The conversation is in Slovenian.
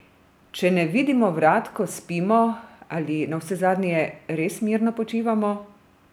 Če ne vidimo vrat, ko spimo, ali navsezadnje res mirno počivamo?